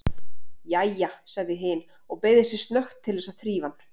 Jæja, sagði hin og beygði sig snöggt til þess að þrífa hann.